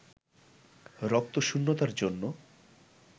রক্তশূন্যতার জন্যে